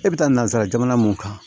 E bɛ taa nansara jamana mun kan